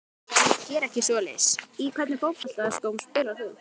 Geri ekki svoleiðis Í hvernig fótboltaskóm spilar þú?